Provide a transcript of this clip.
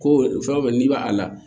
Ko fɛn o fɛn n'i b'a la